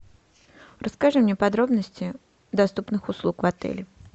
расскажи мне подробности доступных услуг в отеле